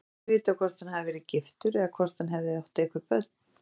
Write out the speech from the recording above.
Ekki er vitað hvort hann hafi verið giftur eða hvort hann hafi átt einhver börn.